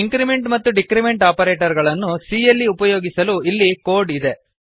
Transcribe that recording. increment ಮತ್ತು decrement operator ಗಳನ್ನು c ಯಲ್ಲಿ ಉಪಯೋಗಿಸಲು ಇಲ್ಲಿ ಕೋಡ್ ಇದೆ